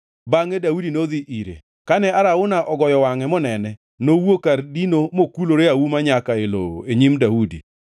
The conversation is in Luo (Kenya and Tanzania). Bangʼe Daudi nodhi ire, kane Arauna ogoyo wangʼe monene, nowuok kar dino mokulore auma nyaka e lowo e nyim Daudi.